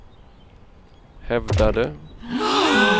hävdade